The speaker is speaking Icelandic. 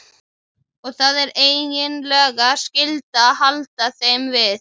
Og það er eiginlega skylda að halda þeim við.